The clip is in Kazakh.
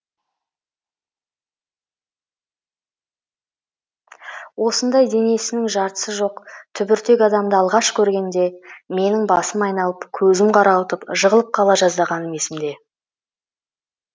осындай денесінің жартысы жоқ түбіртек адамды алғаш көргенде менің басым айналып көзім қарауытып жығылып қала жаздағаным есімде